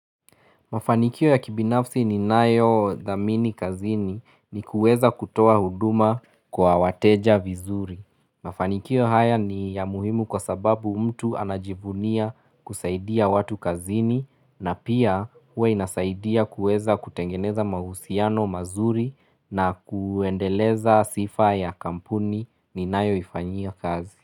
Mafanikio ya kibinafsi ninayodhamini kazini ni kueza kutoa huduma kwa wateja vizuri. Mafanikio haya ni ya muhimu kwa sababu mtu anajivunia kusaidia watu kazini na pia huwa inasaidia kueza kutengeneza mahusiano mazuri na kuendeleza sifa ya kampuni ninayoifanyia kazi.